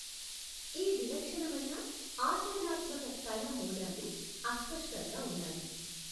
ఈ విలక్షణమైన, ఆచరణాత్మక కళ మూలాలు అస్పష్టంగా ఉన్నాయి.